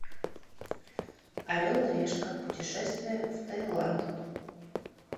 орел и решка путешествие в тайланд